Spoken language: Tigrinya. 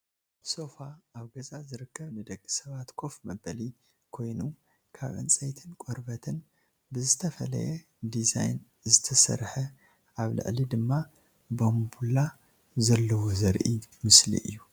ሶፋ ኣብ ገዛ ዝርከብ ንደቂ ሰባት ኮፍ መበሊ ኮይኑ ካብ ዕንፀይትን ቆርበትን ብዝተፈለየ ዲዛይን ዝተሰረሓ ኣብ ላዕሊ ድማ ባንቡላ ዘሎዎ ዘርኢ ምስሊ እዩ።